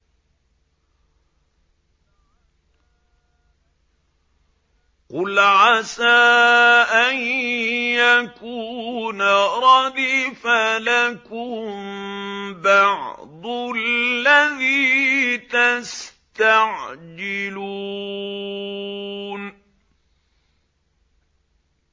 قُلْ عَسَىٰ أَن يَكُونَ رَدِفَ لَكُم بَعْضُ الَّذِي تَسْتَعْجِلُونَ